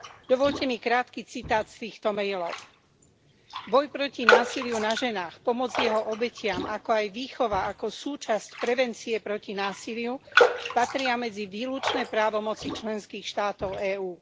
Dovoľte mi krátky citát z týchto mailov Boj proti násiliu na ženách, pomoc jeho obetiam, ako aj výchova ako súčasť prevencie proti násiliu patria medzi výlučné právomoci členských štátov EÚ.